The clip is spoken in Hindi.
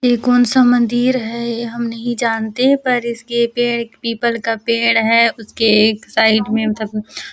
ये कौनसा मंदिर हैं ये हम नही जानते पर इसके पेड़ पीपल का पेड़ हैं उसके एक साइड में मतलब--